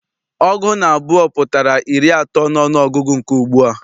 Ọgụ naabọ pụtara iri atọ n'ọnụọgụgụ nke ugbua.